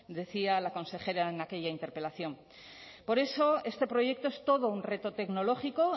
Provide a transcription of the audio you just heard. decía la consejera en aquella interpelación por eso este proyecto es todo un reto tecnológico